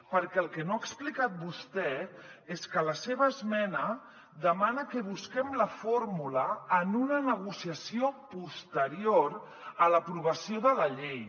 perquè el que no ha explicat vostè és que la seva esmena demana que busquem la fórmula en una negociació posterior a l’aprovació de la llei